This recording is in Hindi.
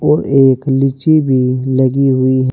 और एक लीची भी लगी हुई--